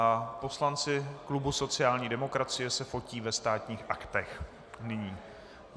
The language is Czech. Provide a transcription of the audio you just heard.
A poslanci klubu sociální demokracie se fotí ve Státních aktech nyní.